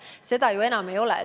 Seda enam ei ole.